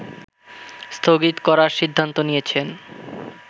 স্থগিত করার সিদ্ধান্ত নিয়েছেন